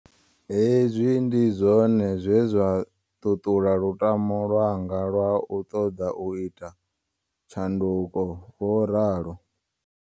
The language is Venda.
Hezwi ndi zwone zwe zwa ṱuṱula lutamo lwa nga lwa u ṱoḓa u ita tshandu ko, vho ralo.